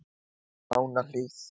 Mánahlíð